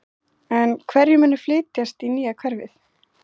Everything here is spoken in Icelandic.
En hverjir munu flytjast í nýja hverfið?